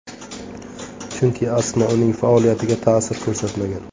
Chunki astma uning faoliyatiga ta’sir ko‘rsatmagan.